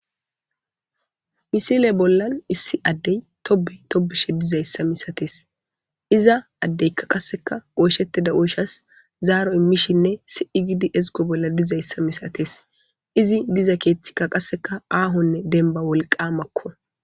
Misile bollan issi addey tobey tobishe dizayssa misatees iza addeykka qasseka ooshettida ooshas zaaro immishinne si'i gidi ezgo bolla dizayssa misates izi diza keeththikka qasseka aahonne denba wolqa makko.